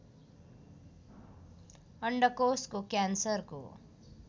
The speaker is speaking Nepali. अण्डकोषको क्यान्सरको